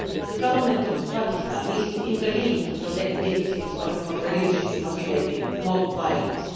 The Government of Pakistan needs to intervene to protect victims of religiously motivated mob violence.